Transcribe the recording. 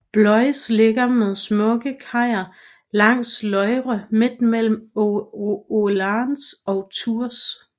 Blois ligger med smukke kajer langs Loire midt mellem Orléans og Tours